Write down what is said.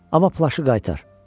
Amma plaşı qaytar.